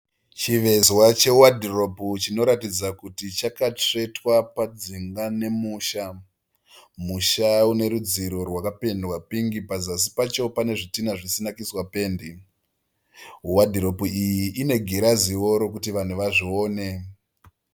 Chivezwa chewadhiropu chinoratidza kuti chakatsvetwa padzinga nemusha. Musha une rudziro rwakapendwa pingi. Pazasi pacho pane zvidhina zvisina kuiswa pendi. Wadhiropu iyi ine giraziwo rokuti vanhu vazvione.